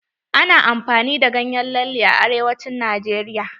Ana amfani da ganyen lalle a arewacin najeriya.